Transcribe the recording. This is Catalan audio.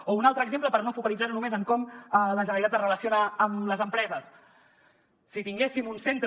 o un altre exemple per no focalitzar ho només en com la generalitat es relaciona amb les empreses si tinguéssim un centre